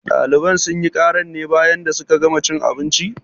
Ɗaliban sunyi karan ne bayan da suka gana cin abinci?